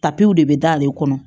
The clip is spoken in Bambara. Tapiw de be d'ale kɔnɔ